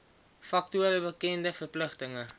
faktore bekende verpligtinge